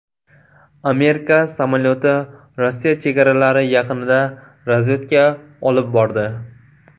Amerika samolyoti Rossiya chegaralari yaqinida razvedka olib bordi.